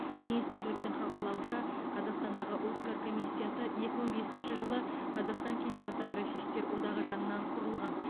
министрліктің хабарлауынша қазақстандағы оскар комиссиясы екі мың бесінші жылы қазақстан кинематографистер одағы жанынан құрылған